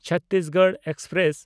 Chhattisgarh express